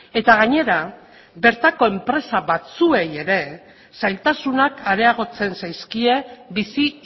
eta gainera bertako enpresa batzuei ere zailtasunak areagotzen zaizkie bizi